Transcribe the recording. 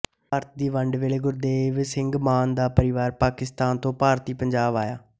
ਭਾਰਤ ਦੀ ਵੰਡ ਵੇਲ਼ੇ ਗੁਰਦੇਵ ਸਿੰਘ ਮਾਨ ਦਾ ਪਰਿਵਾਰ ਪਾਕਿਸਤਾਨ ਤੋਂ ਭਾਰਤੀ ਪੰਜਾਬ ਆਇਆ